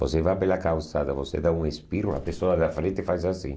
Você vai pela calçada, você dá um espirro, a pessoa da frente faz assim.